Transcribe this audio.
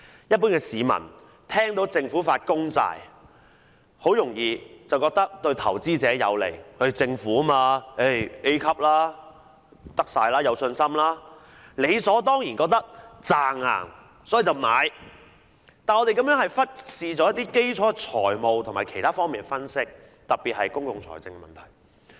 一般市民聽到政府發公債，很容易便以為對投資者有利，政府發債是 A 級，一定可行、有信心，理所當然認為穩賺，所以便買入，但我們忽視了基礎的財務和其他方面的分析，特別是公共財政的問題。